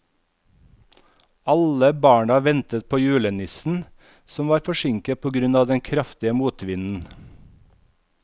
Alle barna ventet på julenissen, som var forsinket på grunn av den kraftige motvinden.